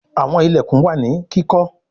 Àwọn ilẹkùn wá ní kíkó.